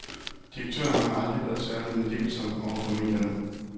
Direktøren har aldrig været særlig meddelsom over for medierne.